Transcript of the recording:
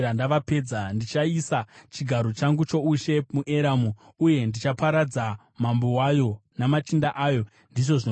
Ndichaisa chigaro changu choushe muEramu uye ndichaparadza mambo wayo namachinda ayo,” ndizvo zvinotaura Jehovha.